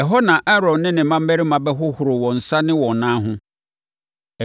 Ɛhɔ na Aaron ne ne mmammarima bɛhohoro wɔn nsa ne wɔn nan ho